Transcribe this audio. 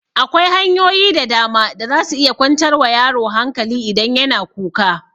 Akwai hanyoyi da dama da za su iya kwantar wa yaro hankali idan ya na kuka